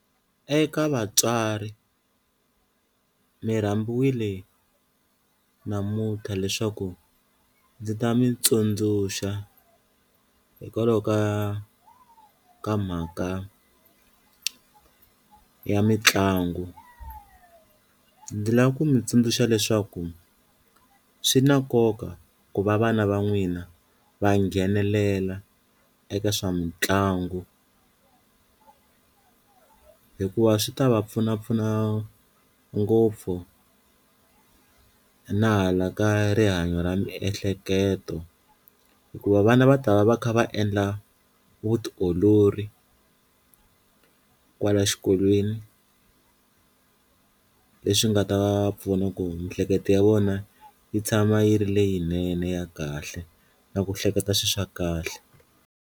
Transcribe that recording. Eka vatswari mi rambiwile namunthla leswaku ndzi ta mi tsundzuxa hikwalaho ka ka mhaka ya mitlangu, ndzi lava ku mi tsundzuxa leswaku swi na nkoka ku va vana va n'wina va nghenelela eka swa mitlangu hikuva swi ta va pfunapfuna ngopfu na hala ka rihanyo ra miehleketo hikuva vana va ta va va kha va endla vutiolori kwala xikolweni leswi nga ta va pfuna ku miehleketo ya vona yi tshama yi ri leyinene ya kahle na ku hleketa swi swa kahle.